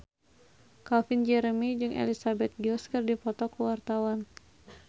Calvin Jeremy jeung Elizabeth Gillies keur dipoto ku wartawan